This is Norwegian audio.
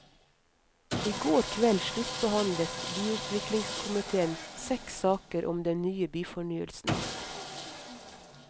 I går kveld sluttbehandlet byutviklingskomitéen seks saker om den nye byfornyelsen.